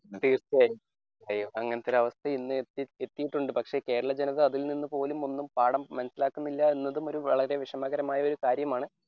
തീർച്ചയായും അങ്ങനത്തെ ഒരു അവസ്ഥ ഇന്ന് എത്തിട്ടുണ്ട് പക്ഷെ കേരള ജനത അതിൽ നിന്നുപോലും ഒന്നും പാഠം മനസിലാക്കുന്നില്ല എന്നതും ഒരു വളരെ വിഷമകരമായ ഒരു കാര്യമാണ്.